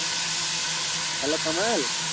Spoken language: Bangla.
Hello কামাল?